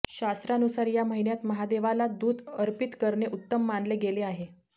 शास्त्रानुसार या महिन्यात महादेवाला दूध अर्पित करणे उत्तम मानले गेले आहे